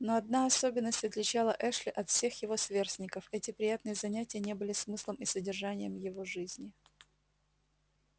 но одна особенность отличала эшли от всех его сверстников эти приятные занятия не были смыслом и содержанием его жизни